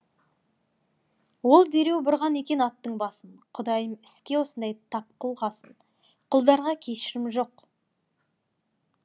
ол дереу бұрған екен аттың басын құдайым іске осындай тапқылғасын құлдарға кешірім жоқ